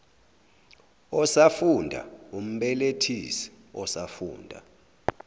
osafunda umbelethisi osafunda